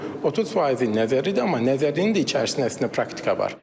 30 faizi nəzəridir, amma nəzərinin də içərisində əslində praktika var.